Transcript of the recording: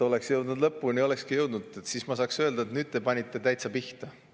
Oleksite te jõudnud lõpuni, siis ma saaksin öelda, et nüüd te panite täitsa pihta.